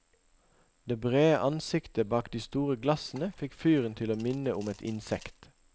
Det brede ansiktet bak de store glassene fikk fyren til å minne om et insekt.